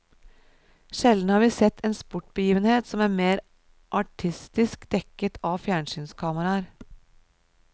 Sjelden har vi sett en sportsbegivenhet som er mer artistisk dekket av fjernsynskameraer.